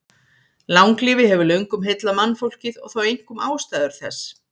Langlífi hefur löngum heillað mannfólkið og þá einkum ástæður þess.